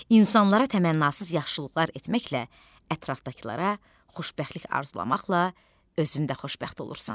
İnsanlara təmənnasız yaxşılıqlar etməklə, ətrafdakılara xoşbəxtlik arzulamaqla özün də xoşbəxt olursan.